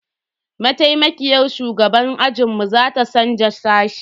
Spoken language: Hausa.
Maitaimakiyar shugaban ajinmu za ta canza sashe.